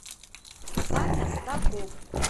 саня старков